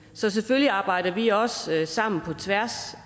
så selvfølgelig arbejder vi også sammen på tværs